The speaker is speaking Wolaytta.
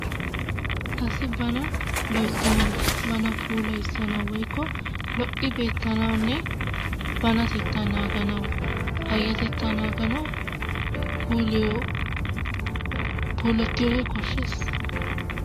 Asi bana loyttanawu bana puulayissanawu woykko lo'i beetanawunne banatettaa naaganawu payatettaa naaganawu puuloy polettiyoogee koshshees.